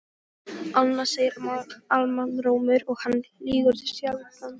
Annað segir almannarómur og hann lýgur sjaldnast.